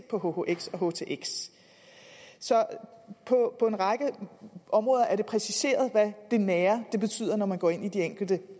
på hhx og htx så på en række områder er det præciseret hvad det nære betyder når man går ind i de enkelte